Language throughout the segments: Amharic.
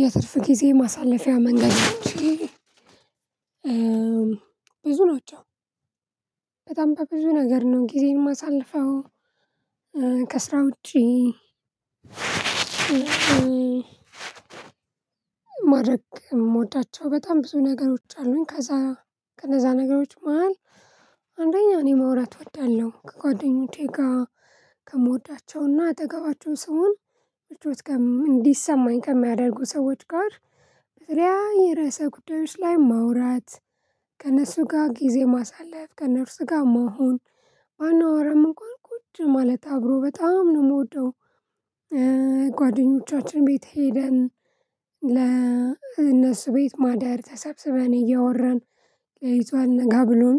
የትርፍ ጊዜ ማሳለፊያ መንገዶቼ ብዙ ናቸው። በጣም በብዙ ነገር ነው ጊዜን የማሳልፈው ከስራ ውጪ። ማድረግ የምወዳቸው በጣም ብዙ ነገሮች አሉኝ። ከዛ ከነዛ ነገሮች መሃል እኔ ማውራት እወዳለሁ ከጓደኞቼ ጋር። ከምወዳቸውና አጠገባቸውን ስሆን ምቾት እንዲሰማኝ ከሚያደርጉ ሰዎች ጋር በተለያየ የርዕሰ ጉዳዮች ላይ ማውራት። ከእነሱ ጋር ጊዜ ማሳለፍ ከእነርሱ ጋር መሆን ባናወራም እንኳን ቁጭ ማለት አብሮ በጣም ነው የምወደው። ጓደኞቻችን ቤት ሄደን ለእነሱ ቤት ማደር ተሰብስበን እያወራን ለሊቱ አልነጋ ብሎን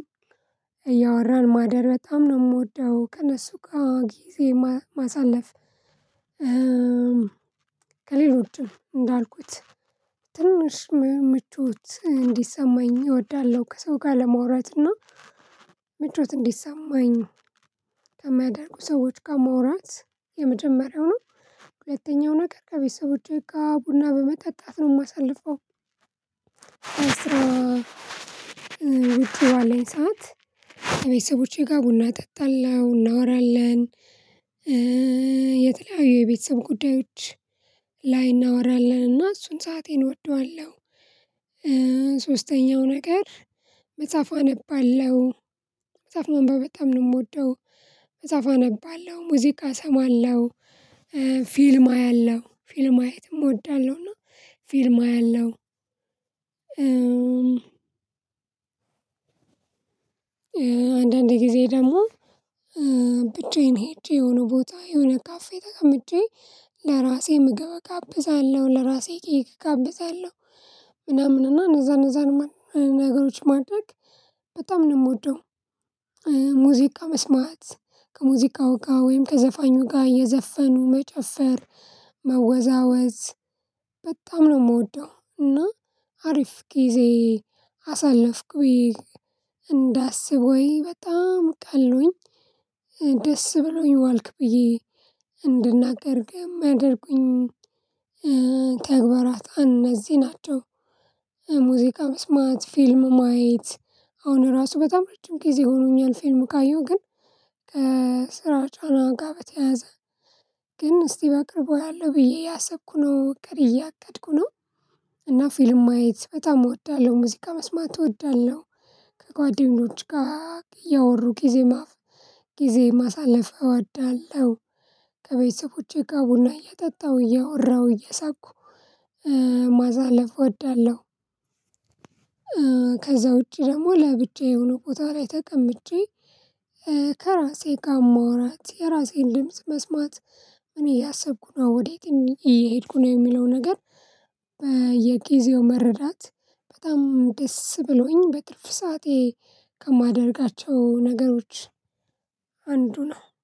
እያወራን ማደር በጣም ነው የምወደው ከእነሱ ጋር ጊዜ ማሳለፍ። ከሌሎችም እንዳልኩት ትንንሽ ምቾች እንዲሰማኝ እወዳለሁ ከሰው ጋር ለመውራትና ምቾት እንዲሰማኝ ከሚያደርጉ ሰዎች ጋር ማውራት የመጀመሪያው ነው። ሁለተኛው ነገር ከቤተሰቦቹ ጋር ቡና በመጠጣት ነው የማሳልፈው። አስራ ውጭ ባለኝ ሰዓት ከቤተሰቦቼ ጋር ቡና እጠጣለሁ እናወራለን። የተለያዩ የቤተሰብ ጉዳዮች ላይ እናወራለንና እሱን ሰአቴን እወደዋለሁ። ሶስተኛው ነገር መጽሐፍ አነባለሁ መጽሐፍ መንበብ በጣም ነው የምወደው። መጽሐፍ አነባለሁ ሙዚቃ እሰማለሁ ፊልም አያለሁ ፊልም ማየትም እወዳለሁና ፊልም አያለሁ። አንዳንዴ ጊዜ ደግሞ ብቻዬን ሄጄ የሆነ ቦታ የሆነ ካፌ ተቀምጬ ለራሴ ምግብ እጋብዛለሁ ለራሴ ኬክ እጋብዛለሁ ምናምን እና እነዛ እነዛን ነገሮች ማድረግ በጣም ነው የምወደው። ሙዚቃ መስማት ከሙዚቃ እቃ ወይም ከዘፋኙ ጋር እየዘፈኑ መጨፈር መወዛወዝ በጣም ነው የምወደው። እና አሪፍ ጊዜ አሳለፍኩኝ እንዳስብ ወይ በጣም ቀሎኝ ደስ ብሎኝ ዋልክ ብዬ እንድናገርግም አድርጉኝ። ተግባራት እነዚህ ናቸው። ሙዚቃ መስማት ፊልም ማየት አሁን ራሱ በጣም ረጅም ጊዜ ሆኖኛል ፊልም ካየው ግን ከስራ ጫና ጋር በተያያዘ ግን እስቲ በቅርቡ አለው ብዬ እያሰብኩ ነው ቀሪ እያቀድኩ ነው። እና ፊልም ማየት በጣም እወዳለሁ ሙዚቃ መስማት እትወዳለሁ። ከጓደኞች ጋር እያወሩ ጊዜ ጊዜ ማሳለፍ እወዳለሁ። ከቤተሰቦቼ ጋር ቡና እየጠጣሁ እየወራሁ እየሳኩ ማዛለፍ እወዳለሁ። ከዛ ውጪ ደግሞ ለብቻዬ የሆነ ቦታ ላይ ተቀምጬ ከራሴ ጋር ማውራት የራሴን ድምጽ መስማት። እኔ ያሰብኩት ነው ወዴት እየሄድኩ ነው የሚለው ነገር። በየጊዜው መረዳት በጣም ደስ ብሎኝ በትርፍ ሰዓቴ ከማደርጋቸው ነገሮች አንዱ ነው